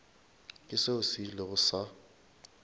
ke seo se ilego sa